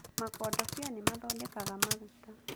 Makodobia nĩ mathondekaga maguta